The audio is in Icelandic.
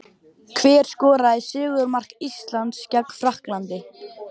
Hver skoraði sigurmark Íslands gegn Frakklandi?